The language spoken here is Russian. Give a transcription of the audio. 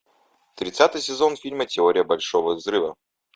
тридцатый сезон фильма теория большого взрыва